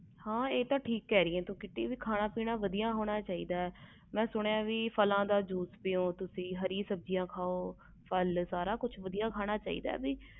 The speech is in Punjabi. ਹੈ ਕ੍ਰਿਤੀ ਤੂੰ ਠੀਕ ਕਹਿ ਰਹੀ ਆ ਖਾਨ ਪੀਣ ਵਧਿਆ ਹੋਣਾ ਚਾਹੀਦਾ ਆ ਮੈਂ ਸੁਣਿਆ ਫਲ ਦਾ ਜੂਸ ਪਯੋ ਤੁਸੀ ਹਰਿ ਸਬਜ਼ੀ ਖਾਓ ਤੁਸੀ ਸਾਰਾ ਕੁਛ ਵਧੀਆ ਖਾਣਾ ਚਾਹੀਦਾ ਆ